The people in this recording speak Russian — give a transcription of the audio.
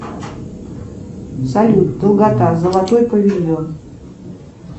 салют долгота золотой павильон